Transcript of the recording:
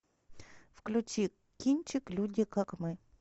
включи кинчик люди как мы